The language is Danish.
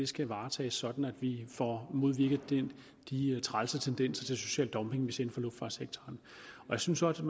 skal varetages sådan at vi får modvirket de trælse tendenser til social dumping vi ser inden for luftfartssektoren jeg synes også